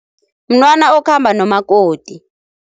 Mntwana okhamba nomakoti.